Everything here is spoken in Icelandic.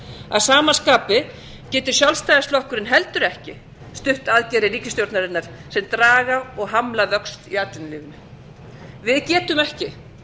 að sama skapi getur sjálfstæðisflokkurinn heldur ekki stutt aðgerðir ríkisstjórnarinnar sem draga og hamla vöxt í atvinnulífinu við getum ekki